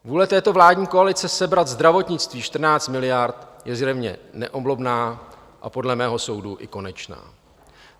Vůle této vládní koalice sebrat zdravotnictví 14 miliard je zjevně neoblomná a podle mého soudu i konečná.